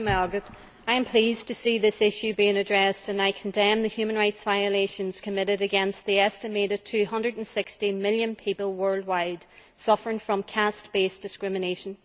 Mr President, I am pleased to see this issue being addressed and I condemn the human rights violations committed against the estimated 260 million people worldwide suffering from caste based discrimination.